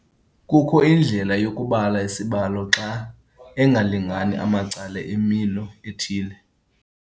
Kukho indlela yokubala isibalo xa engalingani amacala emilo ethile.